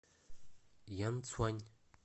янцюань